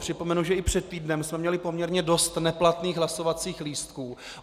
Připomenu, že i před týdnem jsme měli poměrně dost neplatných hlasovacích lístků.